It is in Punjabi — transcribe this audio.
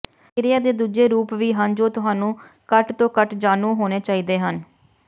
ਕਿਰਿਆ ਦੇ ਦੂਜੇ ਰੂਪ ਵੀ ਹਨ ਜੋ ਤੁਹਾਨੂੰ ਘੱਟ ਤੋਂ ਘੱਟ ਜਾਣੂ ਹੋਣੇ ਚਾਹੀਦੇ ਹਨ